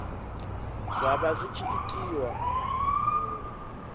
zwa vha zwi tshi itiwa